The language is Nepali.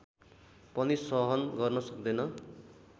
पनि सहन गर्न सक्दैन